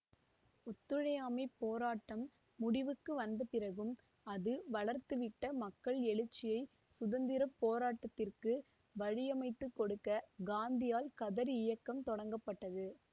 ஒத்துழையாமைப் போராட்டம் முடிவுக்கு வந்த பிறகும் அது வளர்த்துவிட்ட மக்கள் எழுச்சியை சுதந்திர போராட்டத்திற்கு வழியமைத்துக் கொடுக்க காந்தியால் கதர் இயக்கம் தொடங்க பட்டது